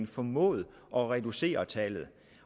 formået at reducere tallet